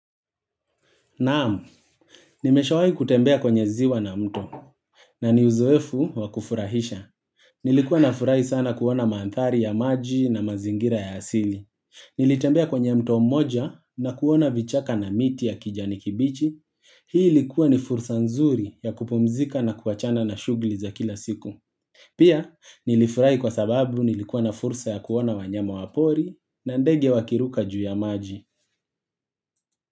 Naam nimesha wahi kutembea kwenye ziwa na mto, na ni uzoefu wakufurahisha. Nilikuwa na furahi sana kuona maanthari ya maji na mazingira ya asili. Nilitembea kwenye mto moja na kuona vichaka na miti ya kijani kibichi. Hii likuwa ni fursa nzuri ya kupumzika na kuachana na shuguli za kila siku. Pia, nilifurai kwa sababu nilikuwa na fursa ya kuona wanyama wapori na ndege wakiruka juu ya maji.